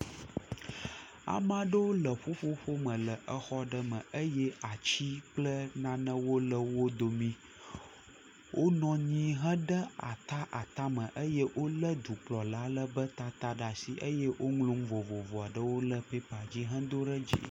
Ame aɖewo le ƒuƒoƒo me le exɔ aɖe me eye atsi kple nanewo le wo domi. Wonɔ anyi hã ɖe ata ata me eye wo le dukplɔ aɖe ƒe tata ɖe asi eye woŋlɔ nu vovovo aɖewo ɖe pɛpa dzi hedo ɖe di.